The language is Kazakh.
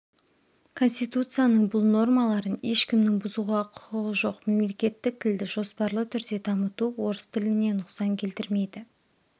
конституцияның бұл нормаларын ешкімнің бұзуға құқығы жоқ мемлекеттік тілді жоспарлы түрде дамыту орыс тіліне нұқсан келтірмейді